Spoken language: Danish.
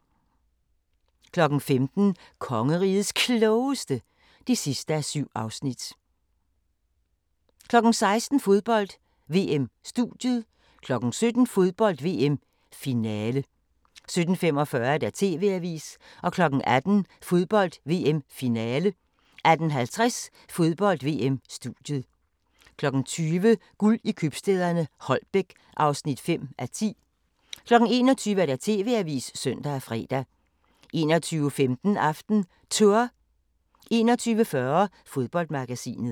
15:00: Kongerigets Klogeste (7:7) 16:00: Fodbold: VM - studiet 17:00: Fodbold: VM - Finale 17:45: TV-avisen 18:00: Fodbold: VM - Finale 18:50: Fodbold: VM - studiet 20:00: Guld i købstæderne – Holbæk (5:10) 21:00: TV-avisen (søn og fre) 21:15: AftenTour 21:40: Fodboldmagasinet